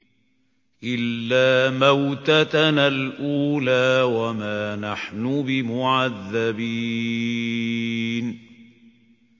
إِلَّا مَوْتَتَنَا الْأُولَىٰ وَمَا نَحْنُ بِمُعَذَّبِينَ